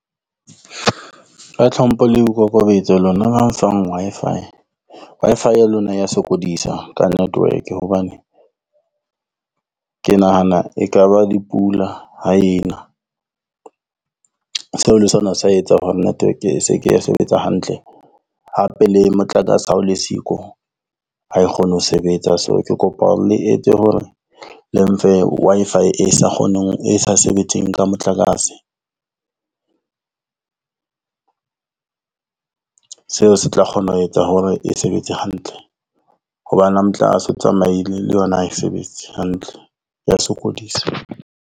Ka tlhompho le boikokobetso lona ba mfang Wi-Fi. Wi-Fi ya lona ya sokodisa ka network, hobane ke nahana ekaba di pula ha ena. Seo le sona sa etsa hore network e se ke ya sebetsa hantle hape le motlakase. Ha o le siko ha e kgone ho sebetsa so, ke kopa le etse hore le mfe Wi-Fi e sa kgoneng e sa sebetseng ka motlakase. Seo se tla kgona ho etsa hore e sebetse hantle. Hobane ha motlakase o tsamaile le yona ha e sebetse hantle ya sokodisa.